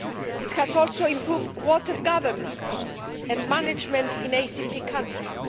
It has also improved water governance and management in ACP countries.